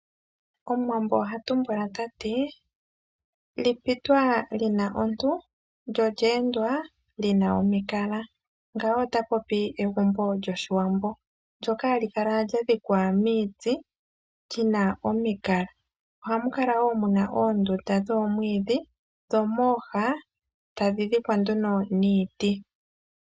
Omuwambo oha tumbula tati: "lipitwa lina ontu lyo lye endwa li na omikala" ngawo ota popi egumbo lyoshiwambo, ndyoka halikala lyadhikwa miiti li na omikala. Oha mukala woo muna oondunda dhomwiidhi dho mooha ta dhi dhikwa nduno niiti.